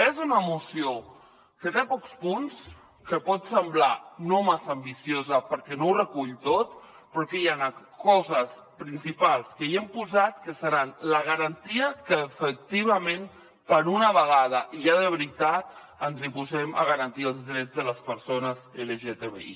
és una moció que té pocs punts que pot semblar no massa ambiciosa perquè no ho recull tot però que hi han coses principals que hi hem posat que seran la garantia que efectivament per una vegada i ja de veritat ens posem a garantir els drets de les persones lgtbi